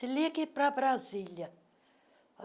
ligue para Brasília.